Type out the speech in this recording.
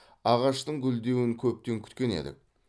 ағаштың гүлдеуін көптен күткен едік